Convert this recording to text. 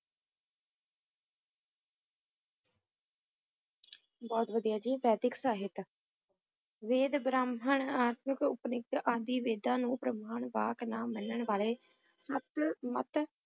ਬਹੁਤ ਬੁਰਾ ਹਾਜੀ ਬਾਹਰੀ ਆਕਸਾਈਡ ਨਵੀਦ ਸਰਗੋਧਾ, ਤੇਰੀ ਅੱਖ ਨਾ ਸ਼ੁਕਰਗੁਜ਼ਾਰ